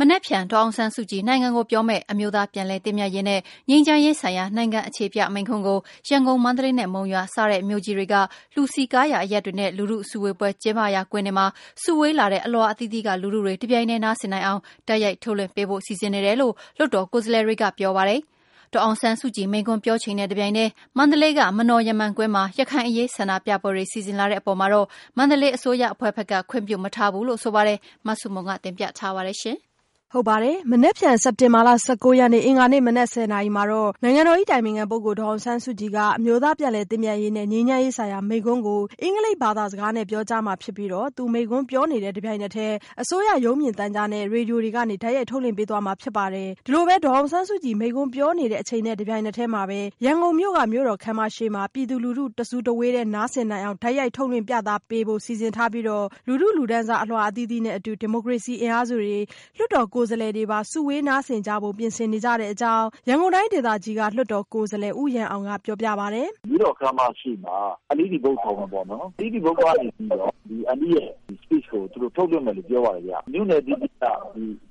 မနက်ဖြန် ဒေါ်အောင်ဆန်းစုကြည် နိုင်ငံကိုပြောမယ့် အမျိုးသားပြန်လည်သင့်မြတ်ရေး နဲ့ငြိမ်းချမ်းရေးဆိုင်ရာ နိုင်ငံအခြေပြမိန့်ခွန်းကို ရန်ကုန်၊ မန္တလေးနဲ့ မုံရွာစတဲ့ မြို့ကြီးတွေက လူစည်ကားရာအရပ်တွေနဲ့ လူထုစုဝေးပွဲ ကျင်းပရာကွင်းတွေမှာ စုဝေးလာတဲ့ အလွှာအသီးသီးက လူထုတွေ တပြိုင်တည်းနားဆင်နိုင်အောင် တိုက်ရိုက်ထုတ်လွှင့်ပေးဖို့ စီစဉ်နေတယ်လို့ လွှတ်တော်ကိုယ်စားလှယ်တွေကပြောပါတယ်။ ဒေါ်အောင်ဆန်းစုကြည် မိန့်ခွန်းပြောချိန်နဲ့တပြိုင်တည်း မန္တလေးက မနော်ရမ္မံကွင်းမှာ ရခိုင်အရေး ဆန္ဒပြပွဲတွေ စီစဉ်လာတဲ့အပေါ်မှာတော့ မန္တလေးအစိုးရအဖွဲ့ဘက်ကတော့ ခွင့်မပြုထားဘူးလို့ဆိုပါတယ်။ မဆုမွန် တင်ပြထားပါတယ်။ မနက်ဖြန် စက်တင်ဘာလ ၁၉ရက်နေ့ အင်္ဂါနေ့ မနက် ၁၀နာရီမှာ နိုင်ငံတော်၏အတိုင်ပင်ခံပုဂ္ဂိုလ်ဒေါ်အောင်ဆန်းစုကြည်က အမျိုးသားပြန်လည်သင့်မြတ်ရေးနဲ့ ငြိမ်းချမ်းရေးဆိုင်ရာမိန့်ခွန်းကို အင်္ဂလိပ်ဘာသာစကားနဲ့ ပြောကြားမှာဖြစ်ပြီး သူ မိန့်ခွန်းပြောနေတဲ့ တပြိုင်နက်တည်း အစိုးရရုပ်မြင်သံကြားနဲ့ ရေဒီယိုတွေကနေတိုက်ရိုက် ထုတ်လွှင့်ပေးမှာဖြစ်ပါတယ်။ ဒေါ်အောင်ဆန်းစုကြည် မိန့်ခွန်းပြောနေတဲ့အချိန်နဲ့တပြိုင်နက်တည်း ရန်ကုန်မြို့ မြို့တော်ခန်းမရှေ့မှာ ပြည်သူလူထု တစုတဝေးတည်း နားဆင်နိုင်အောင် တိုက်ရိုက်ထုတ်လွှင့်ပြသပေးဖို့ စီစဉ်ထားပြီး လူထုလူတန်းစားအလွှာအသီးသီးနဲ့ ဒီမိုကရေစီအင်အားစုတွေ၊ လွှတ်တော်ကိုယ်စားလှယ်တွေပါ စုဝေးနားဆင်ကြဖို့ပြင်ဆင်နေကြတဲ့အကြောင်း ရန်ကုန်တိုင်းဒေသကြီး လွှတ်တော်ကိုယ်စားလှယ်ဦးရန်အောင်က ပြောပြပါတယ်။ “မြို့တော်ခန်းမရှေ့မှာ LDE ဘုတ်ခေါ်မှာပေါ့နော် အဲဒီကနေပြီးတော့ အန်တီရဲ့ Speech ကို ထုတ်လွှင့်မယ်လို့ပြောပါတယ်ခင်ဗျ။ မြို့နယ်အသီးသီးက လွှတ်တော်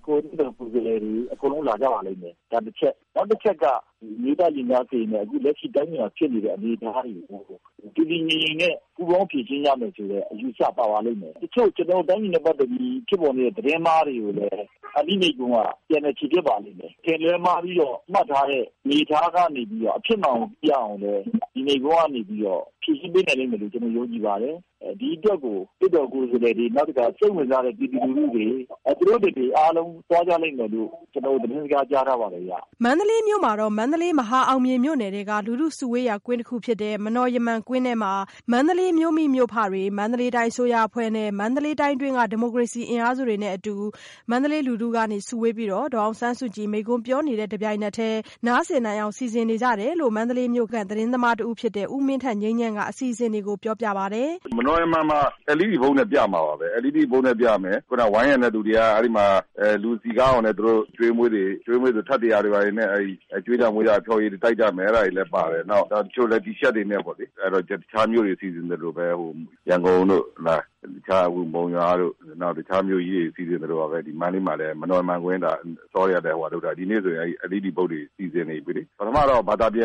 ကိုယ်စားလှယ်တွေ အကုန်လုံးလာကြပါလိမ့်မယ်။ ဒါတချက် နောက်တချက်က အမျိုးသားရင်ကြားစေ့ရေးနဲ့ အခုလက်ရှိတိုင်းပြည်မှာဖြစ်နေတဲ့ အခြေအနေတွေကို တည်တည်းငြိမ်ငြိမ်နဲ့ ပူးပေါင်းဖြေရှင်းကြမယ် ဆိုတဲ့အယူအဆပါပါလိမ့်မယ်။ တချို့ကျနော်တို့တိုင်းပြည်နဲ့ ပတ်သက်ပြီး ဖြစ်ပေါ်နေတဲ့ သတင်းအမှားတွေကို အန်တီ့မိန့်ခွန်းက ပြန်လည်ချေဖျက်ပါလိမ့်မယ်။ အထင်အလွဲမှားပြီးတော့ မှတ်ထားတာတွေကနေပြီးတော့ အဖြစ်အမှန်ကို ပြအောင်လည်း ဒီမိန့်ခွန်းကနေပြီးတော့ ဖြေရှင်းပေးနိုင်လိမ့်မယ်လို့ ကျနော်ယုံကြည်ပါတယ်။ ဒီအတွက် လွှတ်တော်ကိုယ်စားလှယ်တွေ၊ စိတ်ဝင်စားတဲ့ ပြည်သူလူထုတွေ အားလုံး သူတို့တွေသွားကြလိမ့်မယ်လို့ ကျနော်တို့ သတင်းစကားကြားထားပါတယ်ခင်ဗျ။” မန္တလေးမြို့မှာတော့ မန္တလေး မဟာအောင်မြေမြို့နယ်တွင်းက လူထုစုဝေးရာကွင်းဖြစ်တဲ့ မနော်ရမ္မံကွင်းထဲမှာ မန္တလေးမြို့မိမြို့ဖတွေ၊ မန္တလေးတိုင်းအစိုးရအဖွဲ့နဲ့ မန္တလေးတိုင်းတွင်းက ဒီမိုကရေစီအင်အားစုတွေနဲ့အတူ မန္တလေးလူထုက စုဝေးပြီး ဒေါ်အောင်ဆန်းစုကြည် မိန့်ခွန်းပြောနေတဲ့အချိန်နဲ့တပြိုင်နက်တည်း နားဆင်နိုင်အောင် စီစဉ်နေကြတယ်လို့ မန္တလေးမြို့ သတင်းသမားတဦးဖြစ်တဲ့ ဦးမင်းထက်ငြိမ်းချမ်းက အစီအစဉ်တွေကိုပြောပြပါတယ်။ “မနော်ရမ္မံမှာ LED ဘုတ်နဲ့ ပြမယ်။ ဝိုင်းရံတဲ့သူတွေက လူစည်ကားအောင် အကျွေးအမွေးတွေ၊ ထပ်တရာတွေ ကျွေးတာမွေးတာ တွေလုပ်ကြမယ်။ တချို့တွေလည်း T-shirt တွေနဲ့ တခြားမြို့တွေ စီစဉ်သလိုပဲ ရန်ကုန်တို့ ၊ မုံရွာတို့၊ တခြားမြို့ကြီးတွေမှာ စီစဉ်သလိုပဲ မန္တလေးမှာလည်း မနော်ရမ္မံကွင်းမှာ အစောကြီးကတည်းကလုပ်ထားတယ်။ ဒီနေ့ဆိုရင်လည်း LED ဘုတ်တွေနဲ့ စီစဉ်နေပြီလေ။ ပထမတော့ မြန်မာဘာသာပြ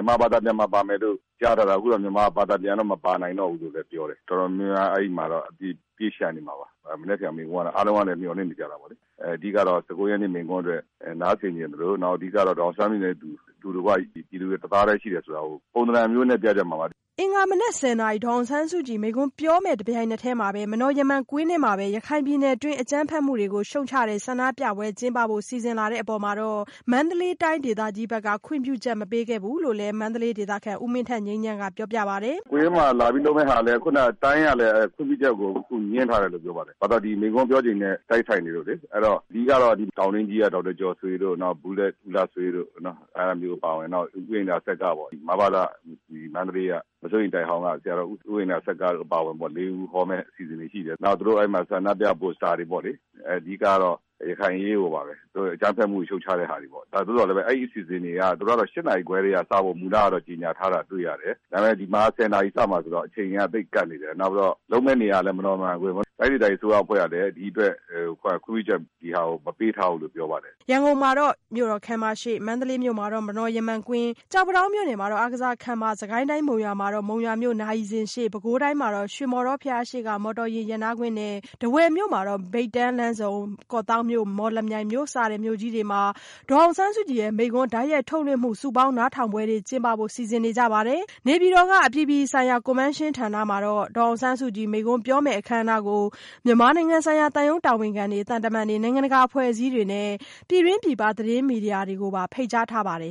န်ပါ ပါမယ်လို့ကြားထားတာ ၊ အခုတော့ မြန်မာဘာသာပြန်မပါနိုင်တော့ဘူးလို့ပြောတယ်၊ တော်တော်များများ အဲဒီမှာတော့ ပြည့်လျှံနေမှာပါ။ မနက်ဖြန်အားလုံးကတော့ မိန့်ခွန်းကနေ မျှော်လင့်နေကြတာပေါ့လေ။ အဓိကတော့ ၁၉ ရက်နေ့ မိန့်ခွန်းအတွက် နားစဉ်ချင်သလို အဓိကတော့ ဒေါ်အောင်ဆန်းစုကြည်နဲ့ အတူတကွ ပြည်သူတွေ တသားတည်းရှိတယ်ဆိုတာကို ပြသဏ္ဍာန်အမျိုးမျိုးနဲ့ ပြကြမှာပါ။” အင်္ဂါ မနက် ၁၀နာရီမှာ ဒေါ်အောင်ဆန်းစုကြည်ရဲ့ မိန့်ခွန်းပြောမယ့်အချိန်နဲ့ တပြိုင်နက်တည်း မနော်ရမ္မံကွင်းထဲမှာပဲ ရခိုင်ပြည်နယ်တွင်း အကြမ်းဖက်မှုရှုတ်ချဆန္ဒပြပွဲကျင်းပဖို့ စီစဉ်လာတဲ့အပေါ် မန္တလေးတိုင်းဒေသကြီးဘက်က ခွင့်ပြုချက်မပေးခဲ့ဘူးလို့လည်း မန္တလေးဒေသခံ ဦးမင်းထက်ငြိမ်းချမ်းက ပြောပြပါတယ်။ “ကွင်းမှာလာပြီးလုပ်မယ့်ဟာလည်း တိုင်းကလည်း ခွင့်ပြုချက်ကို ငြင်းထားတယ်လို့ ပြောပါတယ်။ ဘာကြောင့်လဲဆိုတော့ ဒီမိန့်ခွန်းပြောချိန်နဲ့ တိုက်ဆိုင်နေလို့လေ အဓိကတော့ တောင်တွင်းကြီးက ဒေါက်တာကျော်ဆွေတို့ ၊နောက် ဘူလက်လှဆွေတို့ အဲဒါမျိုးတွေအပါအဝင်ပေါ့လေ မဘသ မစိုးရိမ်တိုက်အဟောင်းက ဆရာတော်တွေ ၄ ဦးဟောမယ့်အစီအစဉ်တွေရှိတယ်။ နောက်ပြီးတော့ သူတို့ ဆန္ဒပြပို့စတာတွေပေါ့လေ အဓိကတော့ ရခိုင်အရေးကိုပါပဲ အကြမ်းဖက်မယ်ကို ရှုတ်ချတဲ့ဟာတွေပေါ့လေ။ သို့သော်လည်း အဲဒီအစီအစဉ်တွေက သူတို့ကတော့ ၈ နာရီခွဲကတည်းက စဖို့တော့ မူလကတော့ ကြေညာထားတာတွေ့ရတယ်။ ဒါပေမယ့် ဒီမှာက ၁၀ နာရီစမှာဆိုတော့ အချိန်က သိပ်ကပ်နေတယ်။ နောက်ပြီးတော့ လုပ်မယ့်နေရာကလည်း မနော်ရမ္မံကွင်း ဆိုတော့ တိုင်းဒေသကြီးအစိုးရအဖွဲ့ကလည်း ဒီအတွက် ခွင့်ပြုချက်ကို မပေးထားဘူးလို့ပြောပါတယ်။” ရန်ကုန်မြို့မှာ မြို့တော်ခန်းမရှေ့၊ မန္တလေးမြို့မှာ မနော်ရမ္မံကွင်း၊ ကျောက်ပန်းတောင်း မြို့နယ် အားကစားခန်းမ၊ စစ်ကိုင်းတိုင်း မုံရွာမြို့မှာတော့ မုံရွာမြို့ နာရီစင်ရှေ့၊ ပဲခူးတိုင်းမှာတော့ ရွှေမောဓောဘုရားရှေ့က မော်တော်ယာဉ် ရပ်နားကွင်းနဲ့ ထားဝယ်မြို့မှာတော့ မြိတ်တန်းလမ်းဆုံ၊ ကော့သောင်းမြို့၊ မော်လမြိုင်မြို့စတဲ့မြို့ကြီးတွေမှာ ဒေါ်အောင်ဆန်းစုကြည်ရဲ့ မိန့်ခွန်းတိုက်ရိုက်ထုတ်လွှင့်မှု စုပေါင်းနားထောင်ပွဲတွေ ကျင်းပဖို့ စီစဉ်နေကြပါတယ်။ နေပြည်တော်က အပြည်ပြည်ဆိုင်ရာ ကွန်ဗင်းရှင်းဗဟိုဌာနမှာ ဒေါ်အောင်ဆန်းစုကြည် မိန့်ခွန်းပြောမယ့် အခမ်းအနားကိုတော့ မြန်မာနိုင်ငံဆိုင်ရာ သံရုံးတာဝန်ခံတွေ၊ သံတမန်တွေ၊ နိုင်ငံတကာအဖွဲ့အစည်းတွေနဲ့ ပြည်တွင်းပြည်ပ သတင်းမီဒီယာတွေကိုပါ ဖိတ်ကြားထားပါတယ်။